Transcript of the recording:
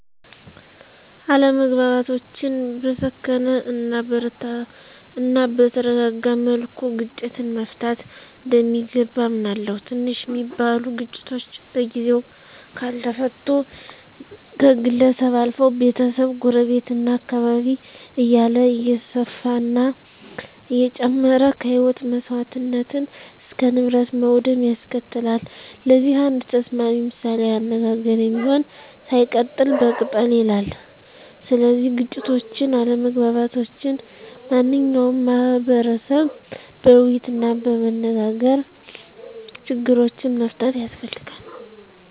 አለመግባባቶችን በሰከነ እናበተረጋጋ መልኩ ግጭትን መፍታት እንደሚገባ አምናለሁ። ትንሽ ሚባሉ ግጭቶች በጊዜው ካልተፈቱ ከግለሰብ አልፈው፣ ቤተሰብ፣ ጎረቤት፣ እና አካባቢ እያለ እየሰፈና እየጨመረ ከህይወት መሰዋትነት እስከ ንብረት ውድመት ያስከትላል። ለዚህ አንድ ተስማሚ ምሳሌአዊ አነጋገር የሚሆን፦ ሳይቀጠል በቅጠል ይላል። ስለዚህ ግጭቶችን፣ አለመግባባቶችን ማንኛው ማህቀረሰብ በወይይትናበመነጋገር ችግሮችን መፍታት ያስፈልጋል።